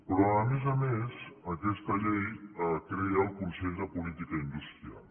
però a més a més aquesta llei crea el consell de política industrial